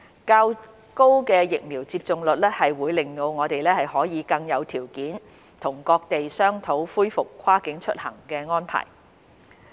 較高的疫苗接種率，會令我們可以更有條件與各地商討恢復跨境出行的安排。